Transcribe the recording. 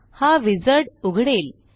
हा विझार्ड उघडेल